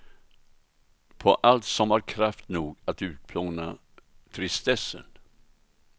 På allt som har kraft nog att utplåna tristessen.